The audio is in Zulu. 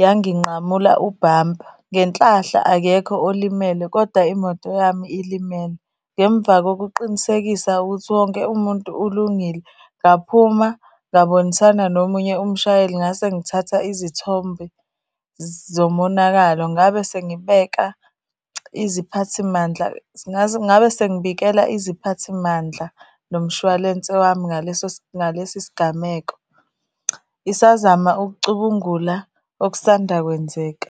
yanginqamula ubhampa. Ngenhlahla akekho olimele koda imoto yami ilimele. Ngemva kokuqinisekisa ukuthi wonke umuntu ulungile, ngaphuma ngabonisana nomunye umshayeli ngase ngithatha izithombe zomonakalo. Ngabe sengibeka iziphathimandla , ngabe sengibikela iziphathimandla nomshwalense wami ngaleso ngalesi sigameko ngisazama ukucubungula okusanda kwenzeka.